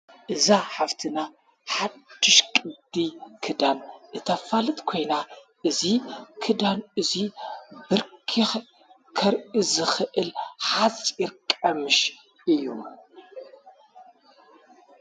እዛ ሓፍትና ሓድሽ ቅዲ ክዳን እተፋልት ኴይና እዙይ ኽዳን እዙይ ብርኪ ከርኢዝኽእል ሓፂር ቀምሽ እዩ።